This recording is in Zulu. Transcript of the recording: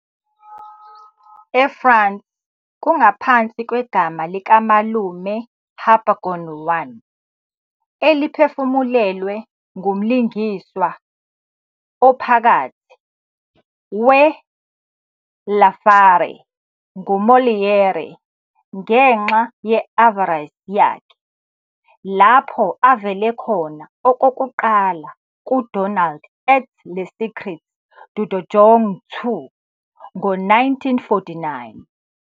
EFrance, kungaphansi kwegama likaMalume Harpagon1, eliphefumulelwe ngumlingiswa ophakathi we-L'Avare nguMolière ngenxa ye-avarice yakhe, lapho avele khona okokuqala kuDonald et le Secret du donjon2 ngo-1949.